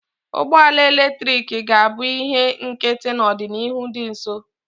Ụgbọ ala eletrik ga-abụ ihe nkịtị n'ọdịnihu dị nso